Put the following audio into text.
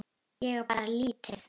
Ég á bara lítið.